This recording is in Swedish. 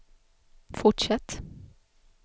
fortsätt